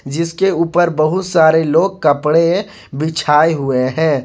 जिसके ऊपर बहुत सारे लोग कपड़े बिछाए हुए हैं।